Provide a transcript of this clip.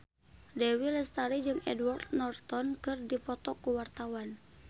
Dewi Lestari jeung Edward Norton keur dipoto ku wartawan